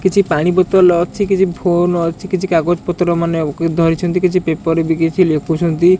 କିଛି ପାଣି ବୋତଲ ଅଛି କିଛି ଫୋନ୍ ଅଛି କିଛି କାଗଜ ପତ୍ର ମାନେ ଉ ଧରିଛନ୍ତି କିଛି ପେପର ବି କିଛି ଲେଖୁଛନ୍ତି।